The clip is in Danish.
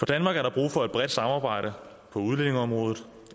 danmark er der brug for et bredt samarbejde på udlændingeområdet